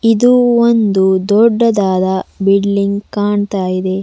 ಇದು ಒಂದು ದೊಡ್ಡದಾದ ಬಿಲ್ಡಿಂಗ್ ಕಾಣ್ತಾ ಇದೆ.